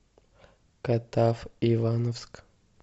катав ивановск